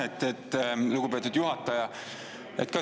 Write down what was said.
Aitäh, lugupeetud juhataja!